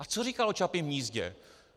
A co říkal o Čapím hnízdě?